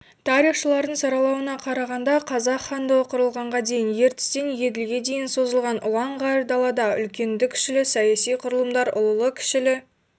тарихшылардың саралауына қарағанда қазақ хандығы құрылғанға дейін ертістен еділге дейін созылған ұлан-ғайыр далада үлкенді-кішілі саяси құрылымдар ұлылы-кішілі